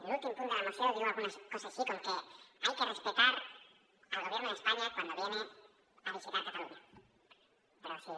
l’últim punt de la moció diu alguna cosa així com que hay que respetar el gobierno de españa cuando viene a visitar cataluña però si